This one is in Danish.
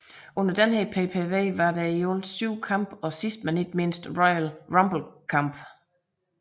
Under denne PPV var der i alt syv kampe og sidst men ikke mindst Royal Rumble kampen